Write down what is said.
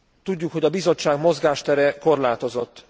Tudjuk, hogy a Bizottság mozgástere korlátozott.